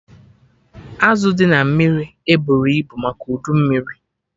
Azụ dị na mmiri eburọ ibu maka udu mmiri